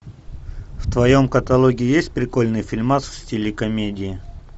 в твоем каталоге есть прикольный фильмас в стиле комедии